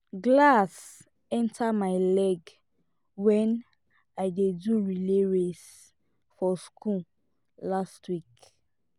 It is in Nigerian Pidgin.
glass enter my leg wen i dey do relay race for school last week